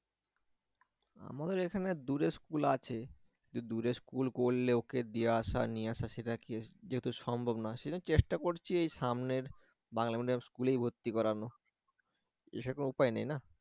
আমাদের এখানে দূরে school আছে কিন্তু দূরে school করলে ওকে দিয়ে আশা নিয়ে আসা সেটা যেহেতু সম্ভব না চেষ্টা করছি সামনের বাংলা medium school এ ভর্তি করানো এ ছাড়া কোন উপায় নেই না?